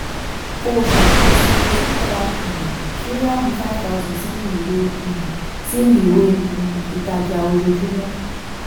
kó o ṣàkóso síta um ṣíráàmù five thousand sínú ìwé um sínú ìwé um ìtajà ojoojúmọ́.